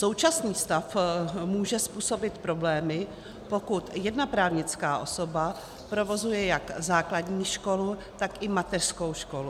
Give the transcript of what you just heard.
Současný stav může způsobit problémy, pokud jedna právnická osoba provozuje jak základní školu, tak i mateřskou školu.